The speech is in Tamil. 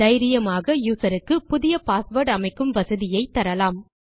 தைரியமாக யூசர் க்கு புதிய பாஸ்வேர்ட் அமைக்கும் வசதியை தரலாம்